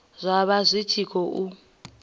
zwa vha zwi tshi khou